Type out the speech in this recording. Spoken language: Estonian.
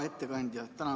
Hea ettekandja!